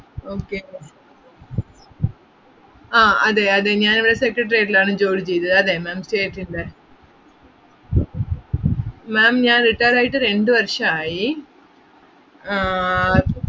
okay ആഹ് അതെ അതെ ഞാൻ ഇവിടെ secretariat ൽ ആണ് ജോലി ചെയ്തത്, അതേ ma'amstate ഇൻ്റെ ma'am ഞാൻ retired ആയിട്ട് രണ്ടു വർഷം ആയി ആഹ്